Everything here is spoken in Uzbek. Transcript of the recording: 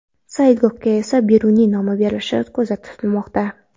Saylgohga esa Beruniy nomi berilishi ko‘zda tutilmoqda.